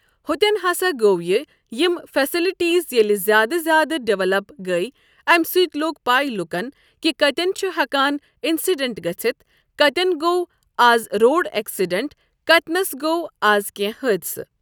ہوٚتٮ۪ن ہسا گوٚو یہِ یِم فیٚسلٹیٖز ییٚلہِ زیادٕ زیادٕ ڈیولَپ گٔے امہِ سۭتۍ لوٚگ پَے لُکَن کہِ کَتٮ۪ن چھُ ہٮ۪کان اِنسِڈنٛٹ گٔژھتھ کَتٮ۪ن گوٚو آز روڈ ایٚکسِڈنٛٹ کَتینَس گوٚو آز کٮ۪نٛہہ حٲدثہٕ۔